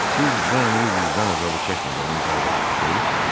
Siz bu əmri vicdan əzabı çəkmədən imzalayacaqsınız?